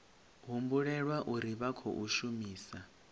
humbulela uri vha khou shumisa